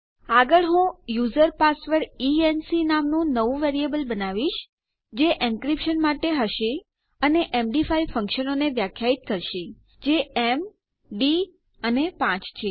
આગળ હું user password E N C નામનું નવું વેરીએબલ બનાવીશ જે એનક્રીપ્શન માટે હશે અને એમડી5 ફંકશનોને વ્યાખ્યાયિત કરીશ જે mડી અને 5 છે